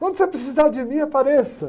Quando você precisar de mim, apareça.